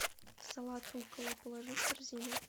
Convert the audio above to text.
салат руккола положи в корзину